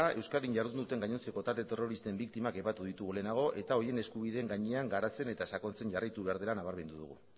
euskadin jardun duten gainontzeko talde terroristen biktimak aipatu ditugu lehenago eta horien eskubideen gainean garatzen eta sakontzen jarraitu behar dela nabarmendu dugu